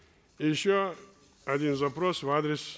и еще один запрос в адрес